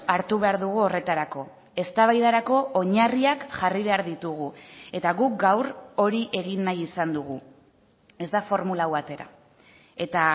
hartu behar dugu horretarako eztabaidarako oinarriak jarri behar ditugu eta guk gaur hori egin nahi izan dugu ez da formula hau atera eta